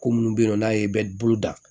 Ko munnu bɛ yen nɔ n'a ye bɛ bolo da